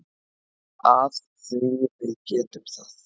Af því að við getum það.